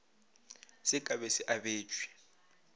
se ka be se abetšwe